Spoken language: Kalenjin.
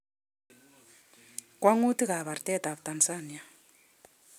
Kwang'utik ab artet ab Tanzania